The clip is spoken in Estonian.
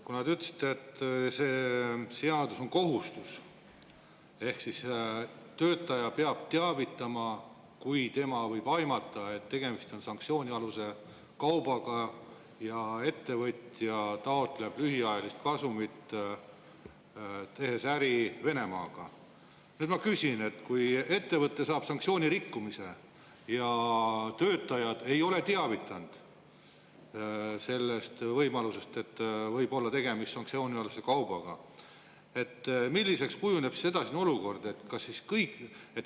Kuna te ütlesite, et see seadus on kohustus ehk siis töötaja peab teavitama, kui ta aimab, et tegemist võib olla sanktsioonialuse kaubaga, ja ettevõtja taotleb lühiajalist kasumit, tehes äri Venemaaga, siis ma küsin nii: kui ettevõte rikkus sanktsioone ja töötajad ei ole teavitanud sellest võimalusest, et võib olla tegemist sanktsioonikaubaga, siis milliseks kujuneb edasine olukord?